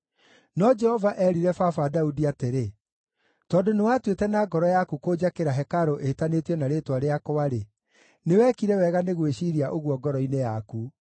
No Jehova eerire baba Daudi atĩrĩ, ‘Tondũ nĩwaatuĩte na ngoro yaku kũnjakĩra hekarũ ĩtanĩtio na Rĩĩtwa rĩakwa-rĩ, nĩ wekire wega nĩ gwĩciiria ũguo ngoro-inĩ yaku.